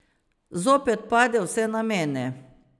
Zopet pade vse na mene.